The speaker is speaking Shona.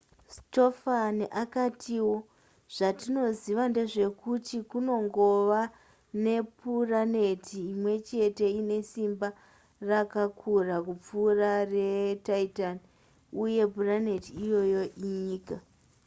stofan akatiwo zvatinoziva ndezvekuti kunongova nepuraneti imwe chete ine simba rakakura kupfuura retitan uye puraneti iyoyo inyika